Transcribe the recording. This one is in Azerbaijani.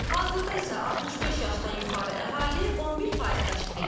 Hazırda isə 65 yaşdan yuxarı əhali 11% təşkil edir.